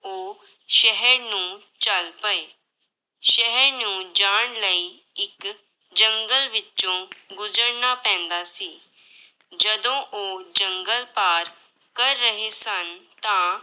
ਉਹ ਸ਼ਹਿਰ ਨੂੰ ਚੱਲ ਪਏ, ਸ਼ਹਿਰ ਨੂੰ ਜਾਣ ਲਈ ਇੱਕ ਜੰਗਲ ਵਿੱਚੋਂ ਗੁਜ਼ਰਨਾ ਪੈਂਦਾ ਸੀ, ਜਦੋਂ ਉਹ ਜੰਗਲ ਪਾਰ ਕਰ ਰਹੇ ਸਨ, ਤਾਂ